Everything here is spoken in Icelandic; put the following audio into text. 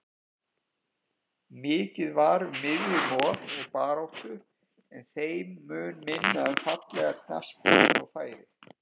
Mikið var um miðjumoð og baráttu en þeim mun minna um fallega knattspyrnu og færi.